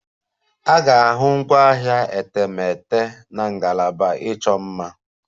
Ị ga-ahụ ngwaahịa etemeete na ngalaba ịchọ mma.